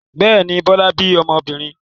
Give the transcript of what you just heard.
Bẹ́ẹ̀ ni, Bọ́lá bí ọmọbìnrin.